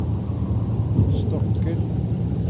stokker